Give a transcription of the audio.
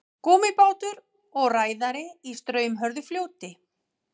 Gúmmíbátur og ræðari í straumhörðu fljóti.